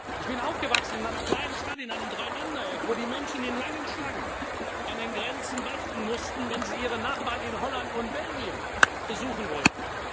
setzte. Ich bin aufgewachsen in einer kleinen Stadt in einem Drei Länder Eck, wo die Menschen in langen Schlangen an den Grenzen warten mussten, wenn sie ihre Nachbarn in Holland und Belgien besuchen